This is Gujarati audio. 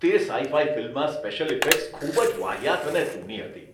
તે સાઈ ફાઈ ફિલ્મમાં સ્પેશિયલ ઇફેક્ટ્સ ખૂબ જ વાહિયાત અને જૂની હતી.